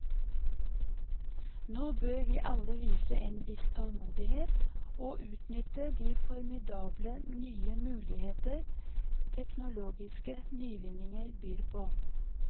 Nå bør vi alle vise en viss tålmodighet og utnytte de formidable nye muligheter teknologiske nyvinninger byr på.